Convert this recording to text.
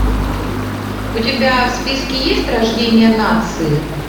у тебя в списке есть рождение нации